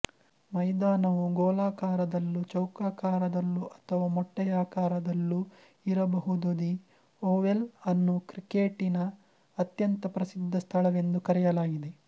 ಮೈದಾನವು ಗೋಲಾಕಾರದಲ್ಲೂ ಚೌಕಾಕಾರದಲೂ ಅಥವಾ ಮೊಟ್ಟೆಯಾಕಾರದಲ್ಲು ಇರಬಹುದುದಿ ಒವೆಲ್ ಅನ್ನು ಕ್ರಿಕೇಟಿನ ಅತ್ಯಂತ ಪ್ರಸಿಧ್ದ ಸ್ಥಳವೆಂದು ಕರೆಯಲಾಗಿದೆ